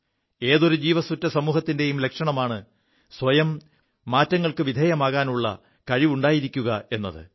ഏതൊരു ജീവസ്സുറ്റ സമൂഹത്തിന്റെയും ലക്ഷണമാണ് സ്വയം മാറ്റങ്ങൾക്കു വിധേയമാകാനുള്ള കഴിവുണ്ടായിരിക്കുകയെത്